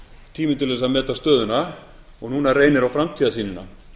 tími til þess að meta stöðuna og núna reynir á framtíðarsýnina